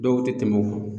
Dɔw tɛ tɛmɛ o kan